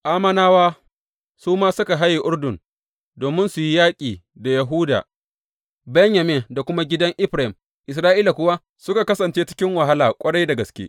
Ammonawa su ma suka haye Urdun domin su yi yaƙi da Yahuda, Benyamin da kuma gidan Efraim; Isra’ila kuwa suka kasance cikin wahala ƙwarai da gaske.